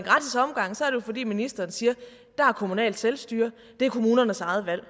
fordi ministeren siger der er kommunalt selvstyre det er kommunernes eget valg